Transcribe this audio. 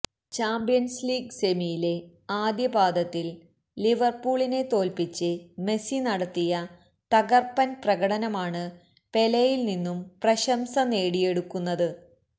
champions league സെമിയിലെ ആദ്യ പാദത്തില് ലിവര്പൂളിനെ തോല്പ്പിച്ച് മെസി നടത്തിയ തകര്പ്പന് പ്രകടനമാണ് പെലെയില് നിന്നും പ്രശംസ നേടിയെടുക്കുന്നത്